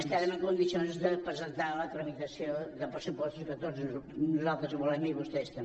estarem en condicions de presentar la tramitació de pressupostos que tots nosaltres volem i vostès també